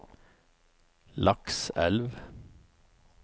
Lakselv